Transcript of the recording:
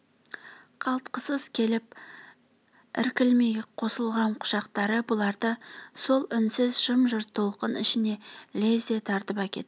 қалтқысыз келіп іркілмей қосылғам құшақтары бұларды сол үнсіз жым-жырт толқын ішіне ілезде тартып әкетті